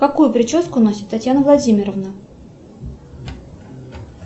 какую прическу носит татьяна владимировна